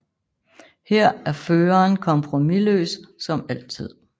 Her er Føreren kompromisløs som altid